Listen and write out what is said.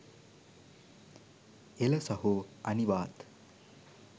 එල සහෝ අනිවාත්